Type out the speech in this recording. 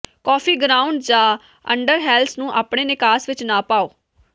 coffee ground ਜਾਂ ਅੰਡਰਹੈਲਸ ਨੂੰ ਆਪਣੇ ਨਿਕਾਸ ਵਿਚ ਨਾ ਪਾਓ